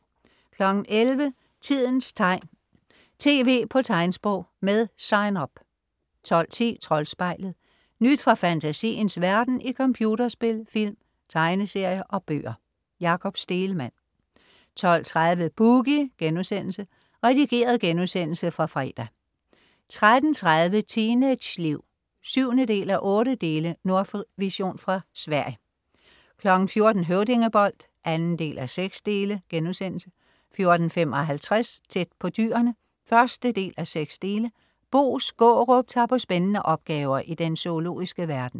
11.00 Tidens tegn. tv på tegnsprog. Med Sign Up 12.10 Troldspejlet. Nyt fra fantasiens verden i computerspil, film, tegneserier og bøger. Jakob Stegelmann 12.30 Boogie.* Redigeret genudsendelse fra fredag 13.30 Teenageliv 7:8. Nordvision fra Sverige 14.00 Høvdingebold 2:6* 14.55 Tæt på Dyrene 1:6. Bo Skaarup tager på spændende opgaver i den zoologiske verden